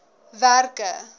werke